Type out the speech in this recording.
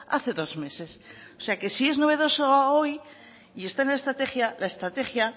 hace dos meses o sea si es novedoso hoy y está en la estrategia la estrategia